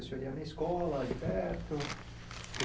O senhor ia na minha escola ali perto.